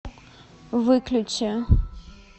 выключи